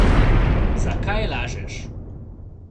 Zakaj lažeš?